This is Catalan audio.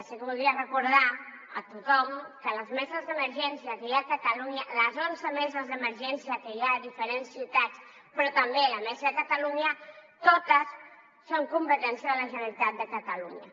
sí que voldria recordar a tothom que les meses d’emergència que hi ha a catalunya les onze meses d’emergència que hi ha a diferents ciutats però també la mesa de catalunya totes són competència de la generalitat de catalunya